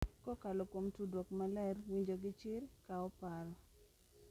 Kokalo kuom tudruok maler, winjo gi chir, kawo paro,